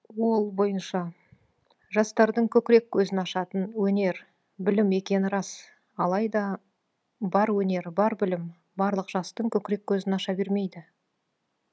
ол бойынша жастардың көкірек көзін ашатын өнер білім екені рас алайда бар өнер бар білім барлық жастың көкірек көзін аша бермейді